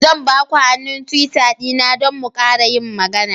Zan ba ku hannun Twitter dina don mu ƙara yin magana.